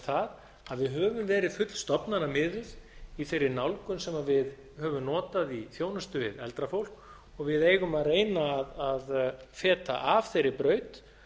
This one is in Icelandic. það að við höfum verið fullstofnanamiðuð í þeirri nálgun sem við höfum notað í þjónustu við eldra fólk og við eigum að reyna að feta af þeirri braut